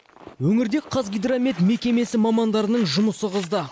өңірде қазгидромет мекемесі мамандарының жұмысы қызды